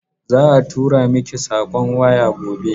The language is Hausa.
Za a tura miki sakon waya gobe.